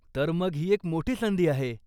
तर मग ही एक मोठी संधी आहे.